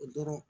O dɔrɔn